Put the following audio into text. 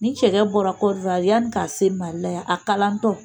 Ni cɛkɛ bɔra Kɔdiwari yaani k'a se Mali la yan a kalantɔ.